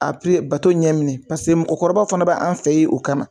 bato ɲɛ minɛ pase mɔgɔkɔrɔba fana b'an fɛ yen o kama.